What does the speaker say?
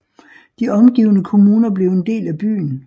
De omgivende kommuner blev en del af byen